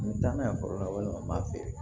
N bɛ taa n'a ye foro la walima n b'a feere